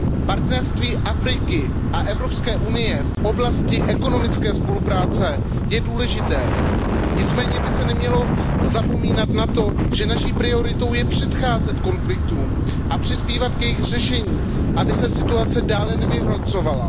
Partnerství Afriky a Evropské unie v oblasti ekonomické spolupráce je důležité, nicméně by se nemělo zapomínat na to, že naší prioritou je předcházet konfliktům a přispívat k jejich řešení, aby se situace dále nevyhrocovala.